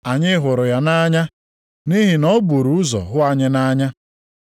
Anyị hụrụ ya nʼanya nʼihi na o buru ụzọ hụ anyị nʼanya.